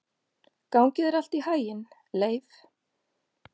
Gangi þér allt í haginn, Leif.